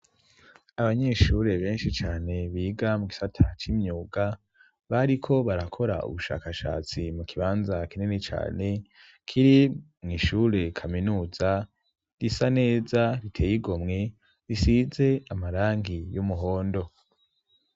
abanyeshure benshi cane biga mu gisata c'imyuga, bariko barakora ubushakashatsi mu kibanza kinini cane kiri mu ishure kaminuza, risa neza, riteye igomwe, risize amarangi y'umuhondo.